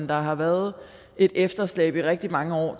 der har været et efterslæb i rigtig mange år